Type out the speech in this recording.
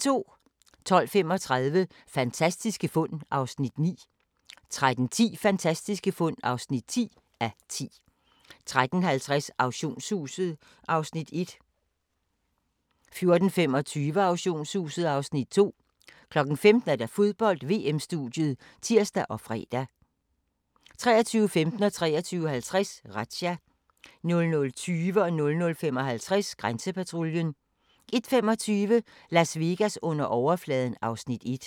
12:35: Fantastiske fund (9:10) 13:10: Fantastiske fund (10:10) 13:50: Auktionshuset (Afs. 1) 14:25: Auktionshuset (Afs. 2) 15:00: Fodbold: VM-studiet (tir og fre) 23:15: Razzia 23:50: Razzia 00:20: Grænsepatruljen 00:55: Grænsepatruljen 01:25: Las Vegas under overfladen (Afs. 1)